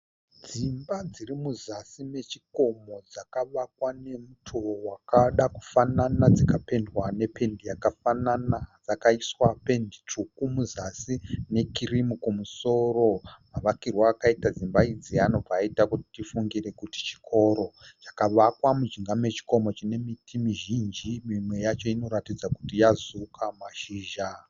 Dzimba dzirimuzasi mechikomo dzakavakwa nemutowo wakadakufanana, dzikapendwa nependi yakafanana. Dzakaiswa pendi tsvuku muzasi ne kirimu kumusoro. Mavakirwo akaita dzimba idzi anobva aita kuti tifungire kuti chikoro. Chakavakwa mujinga mechikomo chine miti mizhinji mimwe yacho inoratidza kuti yazuuka mashizha.